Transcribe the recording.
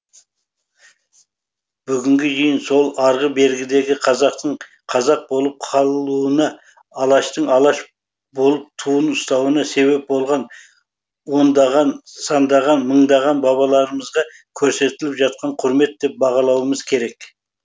бүгінгі жиын сол арғы бергідегі қазақтың қазақ болып қалуына алаштың алаш болып туын ұстауына себеп болғаны ондаған сандаған мыңдаған бабаларымызға көрсетіліп жатқан құрмет деп бағалауымыз керек